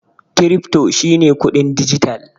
Krifto shi ne kuɗin dijital.